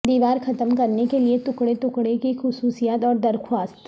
دیوار ختم کرنے کے لئے ٹکڑے ٹکڑے کی خصوصیات اور درخواست